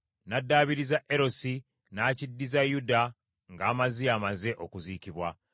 N’addaabiriza Erosi, n’akiddiza Yuda nga Amaziya amaze okuziikibwa.